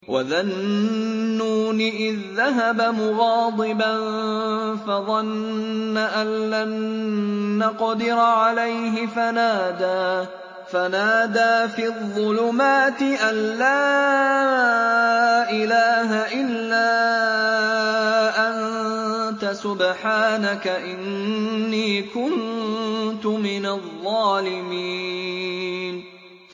وَذَا النُّونِ إِذ ذَّهَبَ مُغَاضِبًا فَظَنَّ أَن لَّن نَّقْدِرَ عَلَيْهِ فَنَادَىٰ فِي الظُّلُمَاتِ أَن لَّا إِلَٰهَ إِلَّا أَنتَ سُبْحَانَكَ إِنِّي كُنتُ مِنَ الظَّالِمِينَ